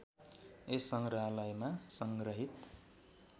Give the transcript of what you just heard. यस सङ्ग्रहालयमा सङ्ग्रहित